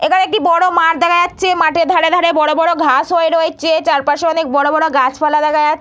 এখানে একটি বড়ো মাঠ দেখা যাচ্ছে। মাঠের ধারে ধারে বড়ো বড়ো ঘাস হয়ে রয়েছে। চারপাশে অনেক গাছ পালা দেখা যা--